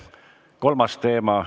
Kolmas teema.